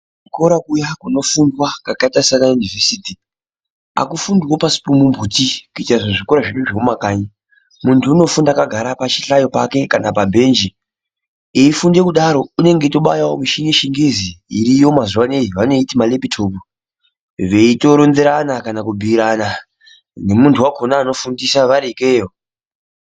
Kuchikora kuya kunofunda kwakaita sana yunivhesiti hakufundiwi pasi pemumuti kuita kunge zvikora zvemumakanyi muntu kunofunda akagara pachihlayo pake kana pabhenji eifunda kudaro unenge eibayawo muchini yechingezi iriyo mazuwa anaya vanoiti malepitopu veitoronzerana kana kubhuirana nemuntu wakona anofundiswa vari ikeyo.